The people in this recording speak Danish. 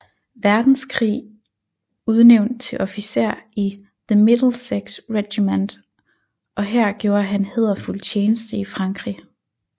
Verdenskrig udnævnt til officer i The Middlesex Regiment og her gjorde han hæderfuld tjeneste i Frankrig